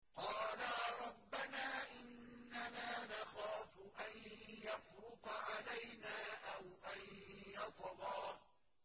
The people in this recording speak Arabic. قَالَا رَبَّنَا إِنَّنَا نَخَافُ أَن يَفْرُطَ عَلَيْنَا أَوْ أَن يَطْغَىٰ